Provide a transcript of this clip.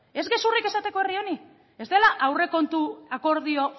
ez esateko gezurrik herri honi ez dela aurrekontu akordio